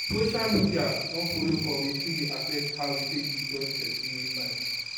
social media don follow for wetin dey affect how we take dey judge person wey fine